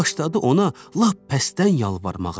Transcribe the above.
Başladı ona lap pəstdən yalvarmağa.